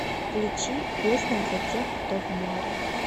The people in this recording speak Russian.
включи песня за тех кто в море